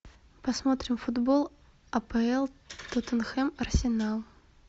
посмотрим футбол апл тоттенхэм арсенал